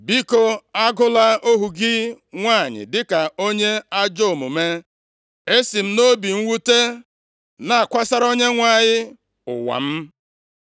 Biko agụla ohu gị nwanyị dịka onye ajọ omume. Esi m nʼobi mwute na-akwasara Onyenwe anyị ụwa m.”